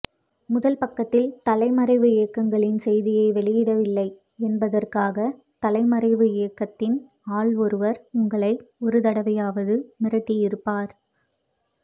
முதல் பக்கத்தில் தலைமறைவு இயக்கங்களின் செய்தியை வெளியிடவில்லை என்பதற்காக தலைமறைவு இயக்கத்தின் ஆள் ஒருவர் உங்களை ஒருதடவையாவது மிரட்டியிருப்பார்